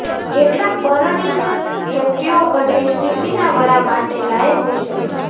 કેટલાક પરણિત વ્યક્તિઓ ઘરની સ્થિતિના વડા માટે લાયક હોઈ શકે છે